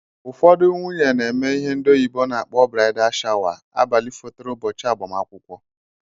Ụfọdụ nwunye na-eme ihe ndị oyibo na akpọ braida shawa abalị fotere ụbọchị agbamakwụkwọ